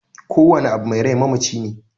Kowane abu mai rai mamaci ne